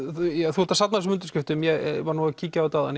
þú ert að safna þessum undirskriftum ég var að kíkja á þetta áðan